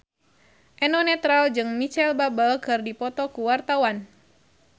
Eno Netral jeung Micheal Bubble keur dipoto ku wartawan